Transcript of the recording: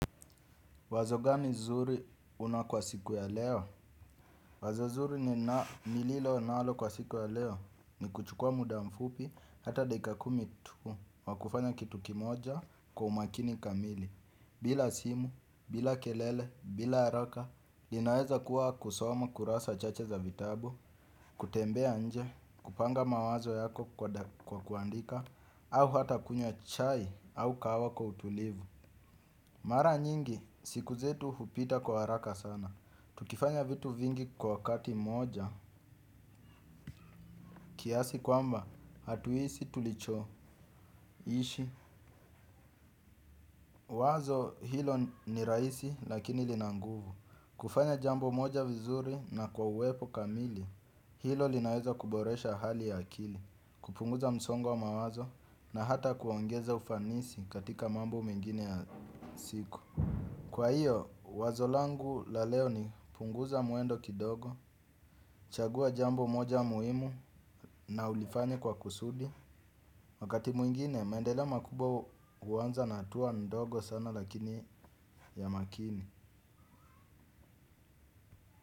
Wazo gani zuri una kwa siku ya leo? Wazo zuri ni na nililo nalo kwa siku ya leo ni kuchukua muda mfupi hata dakika kumi tu. Wakufanya kitu kimoja kwa umakini kamili. Bila simu, bila kelele, bila haraka. Linaeza kuwa kusoma kurasa chache za vitabu, kutembea nje, kupanga mawazo yako kwa kuandika au hata kunywa chai au kahawa kwa utulivu. Mara nyingi siku zetu hupita kwa haraka sana. Tukifanya vitu vingi kwa kati moja kiasi kwamba hatuisi tulicho ishi. Wazo hilo ni raisi lakini linanguvu. Kufanya jambo moja vizuri na kwa uwepo kamili. Hilo linaweza kuboresha hali ya akili. Kupunguza msongo wa mawazo na hata kuongeza ufanisi katika mambo mengine ya siku. Kwa hiyo, wazo langu la leo ni punguza muendo kidogo. Chagua jambo moja muhimu na ulifanye kwa kusudi. Wakati mwingine, maendeleo makubwa uwanza na hatua ndogo sana lakini ya makini.